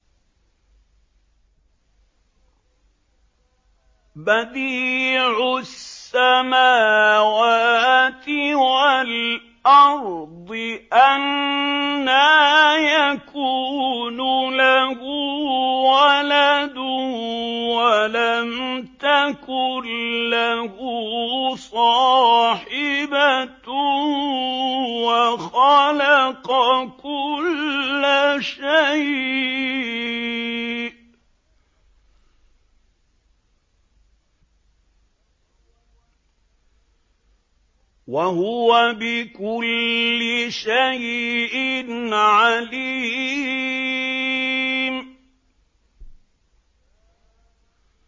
بَدِيعُ السَّمَاوَاتِ وَالْأَرْضِ ۖ أَنَّىٰ يَكُونُ لَهُ وَلَدٌ وَلَمْ تَكُن لَّهُ صَاحِبَةٌ ۖ وَخَلَقَ كُلَّ شَيْءٍ ۖ وَهُوَ بِكُلِّ شَيْءٍ عَلِيمٌ